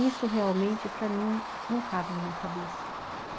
Isso realmente, para mim, não cabe na minha cabeça.